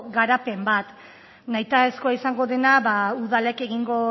garapen bat nahitaezkoa izango dena udalek egingo